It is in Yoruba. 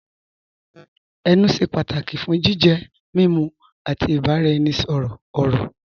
Ẹnù ṣẹ́ pátàkì fún jìjẹ, mímú, àti ìbàraẹnisọ̀rọ̀ ọ̀rọ̀.